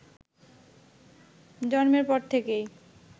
জন্মের পর থেকেই